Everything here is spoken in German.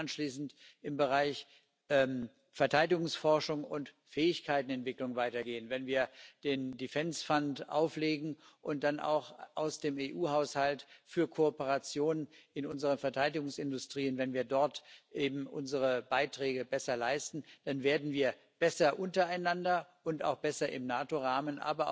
Wenn wir dann anschließend im Bereich Verteidigungsforschung und Fähigkeiten Entwicklung weitergehen, wenn wir den Defence Fund auflegen und dann auch im EU Haushalt für Kooperationen in unseren Verteidigungsindustrien unsere Beiträge besser leisten, dann werden wir besser untereinander und auch besser im NATO Rahmen.